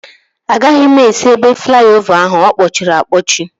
Agaghị m esi ebe flaiovaa ahu, ọkpọchịri akpọchi